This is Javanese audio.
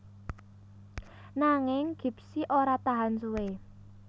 Nanging Gipsy ora tahan suwé